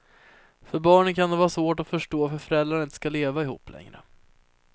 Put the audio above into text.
För barnen kan det vara svårt att förstå varför föräldrarna inte ska leva ihop längre.